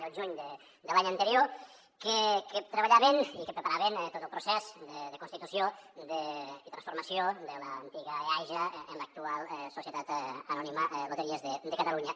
del juny de l’any anterior que treballaven i que preparaven tot el procés de constitució i transformació de l’antiga eaja en l’actual societat anònima loteries de catalunya